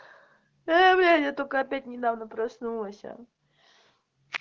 э блять я только опять недавно проснулась